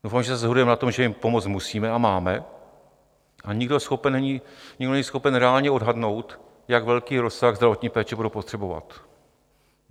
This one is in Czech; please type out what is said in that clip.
Doufám, že se shodujeme na tom, že jim pomoct musíme a máme, a nikdo není schopen reálně odhadnout, jak velký rozsah zdravotní péče budou potřebovat.